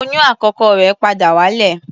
Oyún àkọ́kọ́ rẹ̀ padà wálẹ̀.